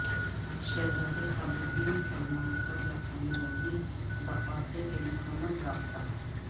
شہزادہ Khalid bin Salman کا جاپانی وزیر دفاع سے ٹیلیفونک رابطہ